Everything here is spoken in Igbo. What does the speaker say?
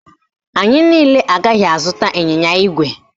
Anyị niile agaghị azụta ịnyịnya ígwè